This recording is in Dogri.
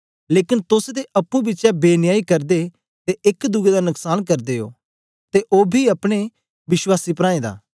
लेकन तोस ते अप्पुं बिचें बेन्यायी करदे ते एक दुए दा नुस्कान करदे ओ ते ओ बी अपने विश्वासी प्राऐं दा